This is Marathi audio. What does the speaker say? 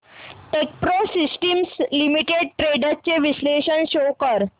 टेकप्रो सिस्टम्स शेअर्स ट्रेंड्स चे विश्लेषण शो कर